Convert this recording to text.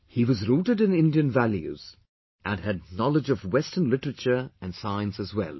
He was rooted in Indian values; and had knowledge of western literature and science as well